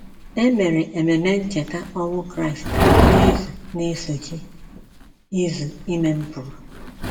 E mere Ememe Ncheta ọnwụ Kraịst n’izu na - esochi izu ime m pụrụ.